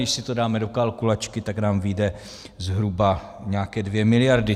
Když si to dáme do kalkulačky, tak nám vyjdou zhruba nějaké 2 miliardy.